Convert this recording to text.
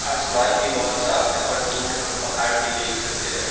आसमान भी बहोत साफ है और दूर हम पहाड़ भी देख सकते हैं।